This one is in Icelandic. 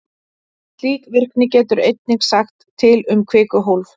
Slík virkni getur einnig sagt til um kvikuhólf.